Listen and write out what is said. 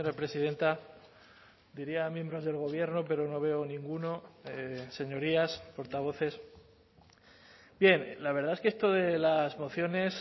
presidenta diría miembros del gobierno pero no veo ninguno señorías portavoces bien la verdad es que esto de las mociones